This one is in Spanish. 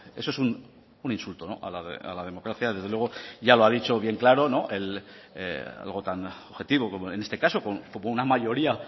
eso es un insulto a la democracia desde luego ya lo ha dicho bien claro algo tan objetivo como en este caso como una mayoría